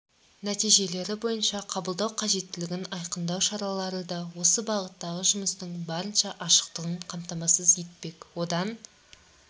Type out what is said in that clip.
нәтижелері бойынша қабылдау қажеттілігін айқындау шаралары да осы бағыттағы жұмыстың барынша ашықтығын қамтамасыз етпек одан